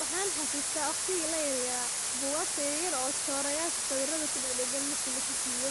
Wxan xasusta waqtigi layaryar bugagta yaryar oo chora yashasawirada kudagdagan marki lisasiyo